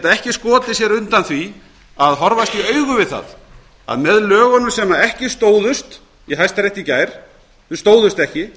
ekki skotið sér undan því að horfast í augu við það að með lögunum sem ekki stóðust í hæstarétti í gær þau stóðust ekki